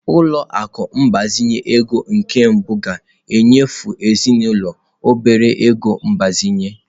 Ụlọ akụ ịgbazinye ego nke mbụ ga-enyefe ezinụlọ obere ego mgbazinye.